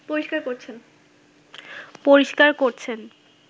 পরিষ্কার করছেন